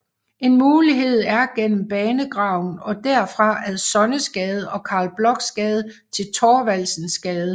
En mulighed er gennem Banegraven og derfra ad Sonnesgade og Carl Blochs Gade til Thorvaldsensgade